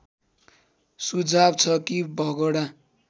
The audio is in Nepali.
सुझाव छ कि भगोडा